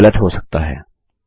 जो कि गलत हो सकता है